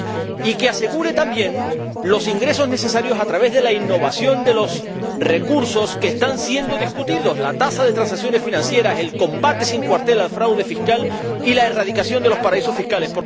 y que asegure también los ingresos necesarios, a través de la innovación de los recursos que están siendo discutidos la tasa de transacciones financieras, el combate sin cuartel al fraude fiscal y la erradicación de los paraísos fiscales.